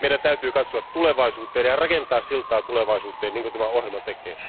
Meidän täytyy katsoa tulevaisuuteen ja rakentaa siltaa tulevaisuuteen, niin kuin tämä ohjelma tekee.